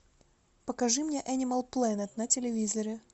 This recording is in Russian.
покажи мне энимал плэнет на телевизоре